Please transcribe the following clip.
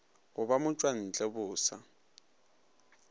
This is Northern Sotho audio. go ba motšwantle bo sa